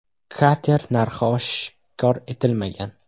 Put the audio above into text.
Kater narxi oshkor etilmagan.